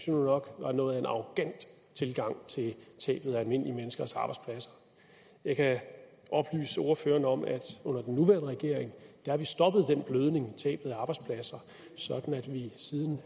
jo nok var noget af en arrogant tilgang til tabet af almindelige menneskers arbejdspladser jeg kan oplyse ordføreren om at under den nuværende regering har vi stoppet den blødning i tabet af arbejdspladser sådan at vi siden